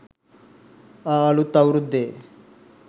ආ අළුත් අවුරුද්දේ